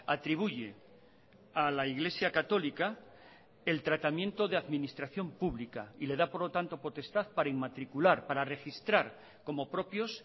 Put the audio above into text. atribuye a la iglesia católica el tratamiento de administración pública y le da por lo tanto potestad para inmatricular para registrar como propios